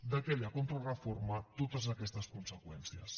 d’aquella contrareforma totes aquestes conseqüències